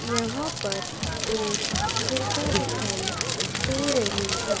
यहां पर एक गुफा दिखाई दे रही है।